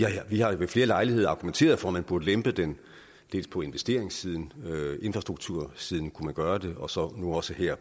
har ved flere lejligheder argumenteret for at man burde lempe den dels på investeringssiden på infrastruktursiden kunne man gøre det og så nu også her